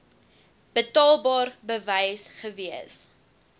betaalbaar bewys gewees